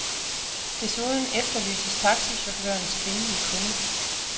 Desuden efterlyses taxichaufførens kvindelige kunde.